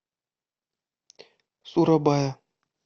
сурабая